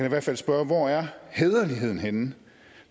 i hvert fald spørge hvor er hæderligheden henne